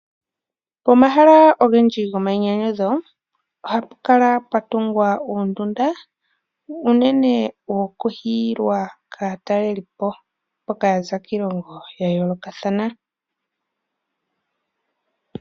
Pomahala ogendji gomainyanyudho, ohapu kala pwa tungwa uundunda, unene woku hiyilwa kaatalelipo mboka ya za kiilongo yayoolokathana.